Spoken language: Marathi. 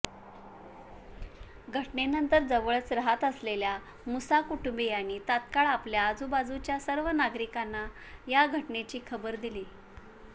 घटनेनंतर जवळच राहात असलेल्या मुसा कुटुंबीयांनी तत्काळ आपल्या आजूबाजूच्या सर्व नागरिकांना या घटनेची खबर दिली